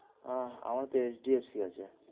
আহ আমার HDFC এ আছে।